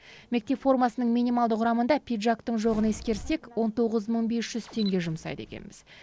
мектеп формасының минималды құрамында пиджактың жоғын ескерсек он тоғыз мың бес жүз теңге жұмсайды екенбіз